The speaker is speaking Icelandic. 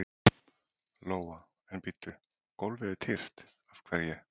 Lóa: En bíddu, gólfið er tyrft, af hverju?